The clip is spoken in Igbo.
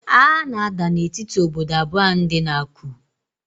Agha na-ada na etiti ododo abụọ ahụ dị na Aku